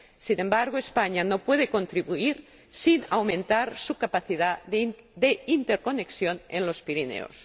Sin embargo, España no puede contribuir sin aumentar su capacidad de interconexión en los Pirineos.